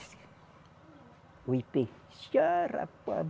O Ipê. Disse ah rapaz